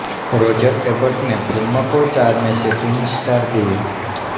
Roger Ebert ने film को चार में से तीन स्टार दिए